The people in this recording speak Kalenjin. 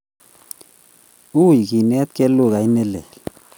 Ui kenetgei lugait ne leel